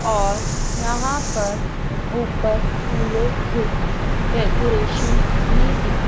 और यहां पर ऊपर फूलों से डेकोरेशन भी दिख--